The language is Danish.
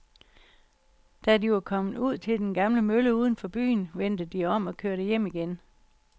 Da de var kommet ud til den gamle mølle uden for byen, vendte de om og kørte hjem igen.